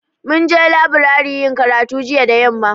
Mun je leburare yin karatu jiya da yamma